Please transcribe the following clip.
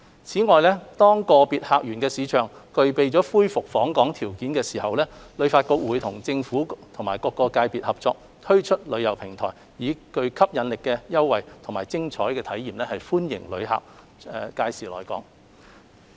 此外，當個別客源市場具備恢復訪港條件時，旅發局會與政府及各界別合作，推出旅遊平台，以具吸引力的優惠和精彩的體驗歡迎旅客屆時來港。